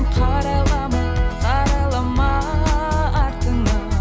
қарайлама қарайлама артыңа